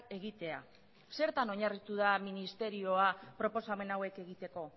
egitea zertan oinarritu da ministerioa proposamen hauek egiteko